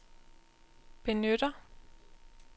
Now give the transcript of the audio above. benytter